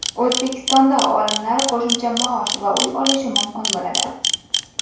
O‘zbekistonda olimlar qo‘shimcha maosh va uy olishi mumkin bo‘ladi.